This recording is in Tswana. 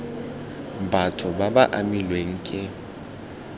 batho ba ba amilweng ke